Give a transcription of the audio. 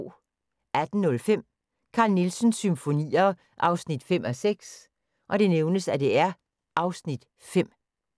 18:05: Carl Nielsens Symfonier 5:6 (Afs. 5)